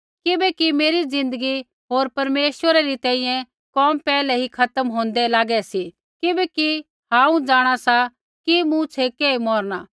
किबैकि मेरी ज़िन्दगी होर परमेश्वरा री तैंईंयैं कोम पैहलै ही खत्म होंदै लागै सी किबैकि हांऊँ जाँणा सा कि मूँ छ़ेकै ही मौरणा